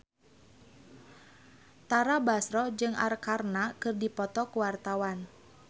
Tara Basro jeung Arkarna keur dipoto ku wartawan